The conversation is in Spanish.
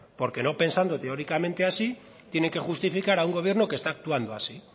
porque no pensando teóricamente así tiene que justificar a un gobierno que está actuando así